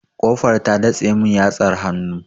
Ƙofar ta datse mun yatsar hannu.